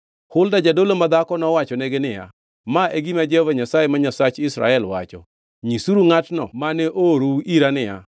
Hulda jadolo madhako nowachonegi niya, “Ma e gima Jehova Nyasaye ma Nyasach jo-Israel wacho: Nyisuru ngʼatno mane oorou ira niya,